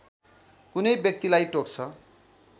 कुनै व्यक्तिलाई टोक्छ